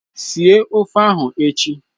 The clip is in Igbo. Esie ofe ahụ echi!